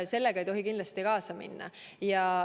Kindlasti ei tohi sellega kaasa minna.